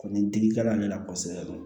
Ni digi kɛla ne la kosɛbɛ